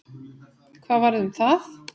Hvað varð um það?